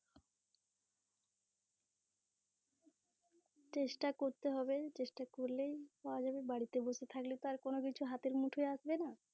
চেষ্টা করতে হবে, চেষ্টা করলে পাওয়া যাবে বাড়িতে বসে থাকলে তো আর কোনো কিছু হাতের মুঠোয় আসবে না